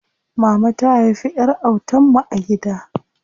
Mama ta haifi ƴar autan mu a gida.